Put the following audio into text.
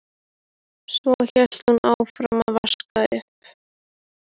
Svo hélt hún áfram að vaska upp.